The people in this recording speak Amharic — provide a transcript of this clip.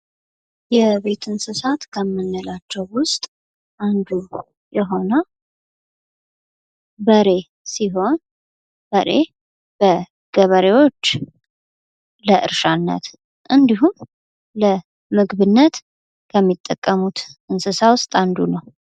የቤት እንስሳት ከምንላቸው ውስጥ አንዱ የሆነው በሬ ገበሬዎች ለእርሻና እንዲሁምለመግብነት የሚጠቀሙት እንስሳ ውስጥ አንዱ ነው።